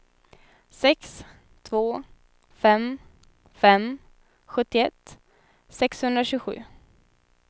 sex två fem fem sjuttioett sexhundratjugosju